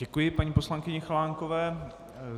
Děkuji paní poslankyni Chalánkové.